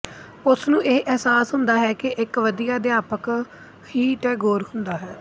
ਉਸਨੂੰ ਇਹ ਅਹਿਸਾਸ ਹੁੰਦਾ ਹੈ ਕਿ ਇੱਕ ਵਧੀਆ ਅਧਿਆਪਕ ਹੀ ਟੈਗੋਰ ਹੁੰਦਾ ਹੈ